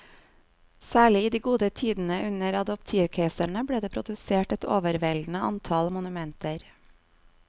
Særlig i de gode tidene under adoptivkeiserne ble det produsert et overveldende antall monumenter.